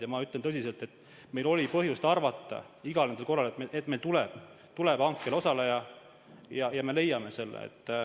Aga ma ütlen tõsiselt, et meil oli põhjust iga kord arvata, et meil tuleb hankel osaleja ja me leiame hindaja.